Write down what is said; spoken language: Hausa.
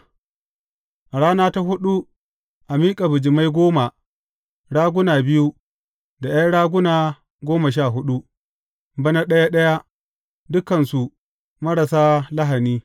A rana ta huɗu a miƙa bijimai goma, raguna biyu, da ’yan raguna goma sha huɗu, bana ɗaya ɗaya, dukansu marasa lahani.